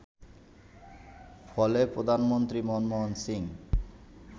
ফলে প্রধানমন্ত্রী মনমোহন সিং